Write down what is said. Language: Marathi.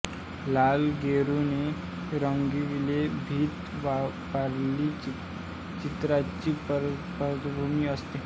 लाल गेरूने रंगविलेली भिंत वारली चित्रांची पार्श्वभूमी असते